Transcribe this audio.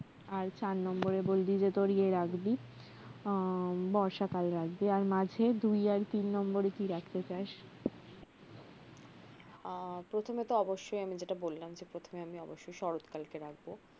আর চার নম্বরে বললি যে তোর ইয়ে রাখবি আহ বর্ষাকাল রাখবি আর মাঝে দুই আর তিন নম্বরে কি রাখতে চাস আহ প্রথমেতো অবশ্যই আমি যেটা বললাম যে প্রথমে আমি অবশ্যই শরতকালকে রাখব